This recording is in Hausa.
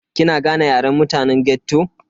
Kina gane Yaren mutane ghetto?